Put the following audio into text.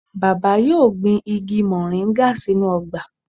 Baba yoo gbin igi moringa sinu ogba.